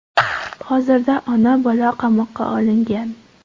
Hozirda ona-bola qamoqqa olingan.